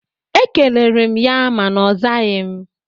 Ekelere m ya mana ọ zaghị ya